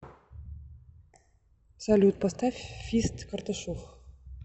салют поставь фист карташов